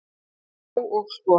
Já, og svo.